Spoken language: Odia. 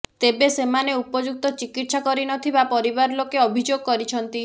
ତେବେ ସେମାନେ ଉପଯୁକ୍ତ ଚିକିତ୍ସା କରିନଥିବା ପରିବାରଲୋକେ ଅଭିଯୋଗ କରିଛନ୍ତି